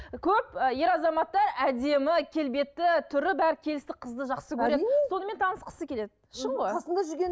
көп ы ер азаматтар әдемі келбетті түрі бәрі келісті қызды жақсы көреді сонымен танысқысы келеді шын ғой қасында жүрген